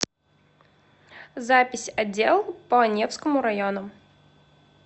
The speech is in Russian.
запись отдел по невскому району